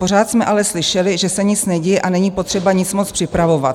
Pořád jsme ale slyšeli, že se nic neděje a není potřeba nic moc připravovat.